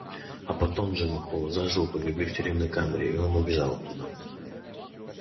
а потом джима холла заживо погребли в тюремной камере и он убежал оттуда